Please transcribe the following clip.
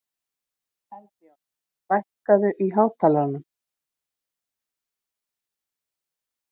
Eldjárn, lækkaðu í hátalaranum.